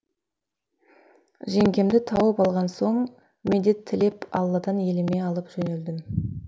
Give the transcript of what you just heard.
жеңгемді тауып алған соң медет тілеп алладан еліме алып жөнелдім